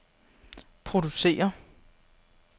producere